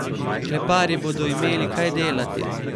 Kleparji bodo imeli kaj delati!